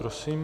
Prosím.